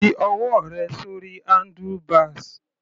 Fi ọwọ́ rẹ sórí handlebars.